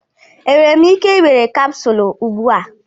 Enwere m ike ị were capsule ugbu a?